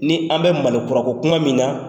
Ni an bɛ malikura ko kuma min na